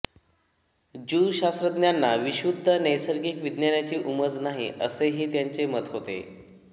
Jew शास्त्रज्ञांना विशुद्ध नैसर्गिक विज्ञानाची उमज नाही असेही त्यांचे मत होते